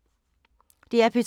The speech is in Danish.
DR P2